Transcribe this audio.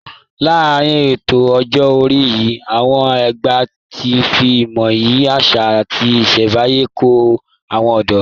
Láàárín ètò ọjọ́ orí yìí, àwọn àgbà fi ìmọ̀, iyì àṣà, àti ìṣẹ̀nbáyé kọ́ àwọn ọ̀dọ́